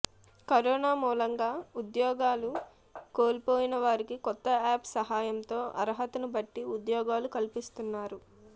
corona మూలంగా ఉద్యోగాలు కోల్పోయిన వారికి కొత్త యాప్ సహాయంతో అర్హతను బట్టి ఉద్యోగాలు కల్పిస్తున్నారు